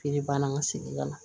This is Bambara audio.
Feere ban na an ka segin ka na